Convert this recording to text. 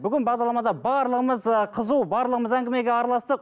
бүгін бағдарламада барлығымыз ы қызу барлығымыз әңгімеге араластық